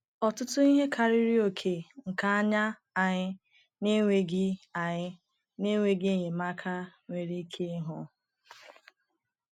Ọtụtụ ihe karịrị oke nke anya anyị na-enweghị anyị na-enweghị enyemaka nwere ike ịhụ.